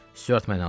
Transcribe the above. Stuart məni aldı.